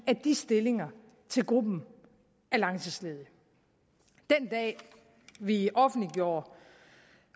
af de stillinger til gruppen af langtidsledige den dag vi offentliggjorde